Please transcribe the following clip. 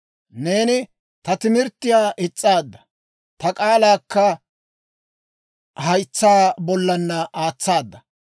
Neeni ta timirttiyaa is's'aadda; ta k'aalaakka haytsaa bollaanna aatsaada.